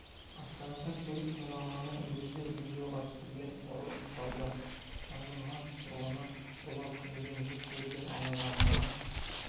астанада көлік тонағанын өзі видеоға түсірген ұры ұсталды түркістанның мас тұрғыны ұрлап мінген жүк көлігімен аялдаманы